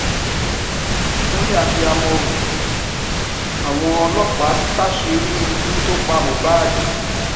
ìkúnlẹ abiyamọ o àwọn ọlọpàá táṣìírí ikú tó pa mohbad